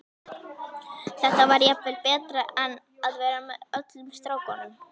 Þetta var jafnvel betra en að vera með öllum strákunum.